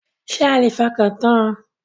Ṣé a lè fọkàntan?